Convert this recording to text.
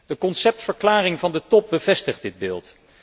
De conceptverklaring van de Top bevestigt dit beeld.